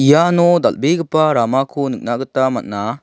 iano dal·begipa ramako nikna gita man·a.